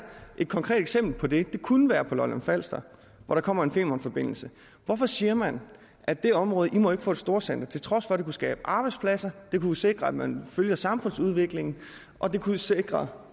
et konkret eksempel på det det kunne være på lolland falster hvor der kommer en femernforbindelse hvorfor siger man at det område ikke må få et storcenter til trods for at det kunne skabe arbejdspladser at det kunne sikre at man følger samfundsudviklingen og at det kunne sikre